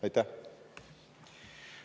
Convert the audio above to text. Aitäh!